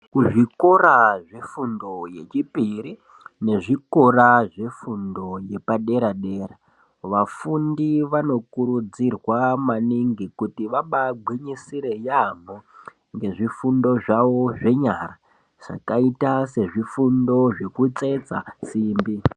Kuzvikora zvefundo yechipiri, nezvikora zvefundo yepadera-dera , vafundi vanokurudzirwa maningi kuti vabaagwinyisire yaampho, nezvifundo zvavo zvenyara, zvakaita sezvifundo zvekutsetsa simbi.